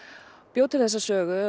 bjó til þessa sögu